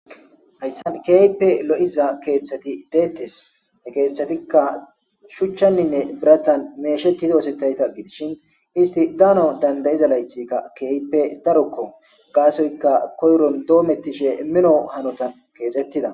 ayssan keype lo7iza keeththati deettes he keeththatikka shuchchanninne biratan meesheti doosetayta gidishin isti daano dandayiza laythika keype darokko gaasoyka koyron doomettishe mino hanotan keesettida